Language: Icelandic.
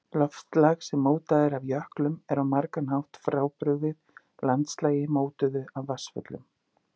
Landslag sem mótað er af jöklum er á margan hátt frábrugðið landslagi mótuðu af vatnsföllum.